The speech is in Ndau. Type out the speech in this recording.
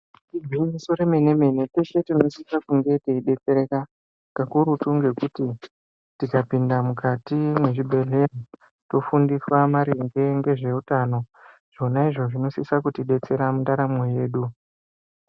Igwinyiso re mene mene kweshe tinosisa kunge teyi detsereka kakurutu ngekuti tika pinda mukati mwe zvibhedhleya tofundisana maringe nge zveutano zvona zvo zvino sisa kuti detsera mundaramo yedu.